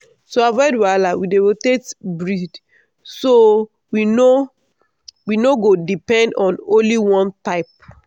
to avoid wahala we dey rotate breed so we no we no go depend on only one type